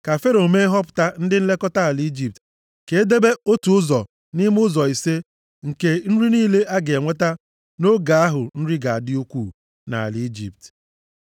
Ka Fero mee nhọpụta ndị nlekọta ala Ijipt. Ka e debe otu ụzọ nʼime ụzọ ise nke nri niile a ga-enweta nʼoge ahụ nri ga-adị ukwuu nʼala Ijipt.